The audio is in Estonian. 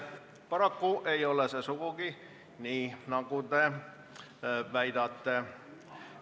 Paraku ei ole see sugugi nii, nagu te väidate.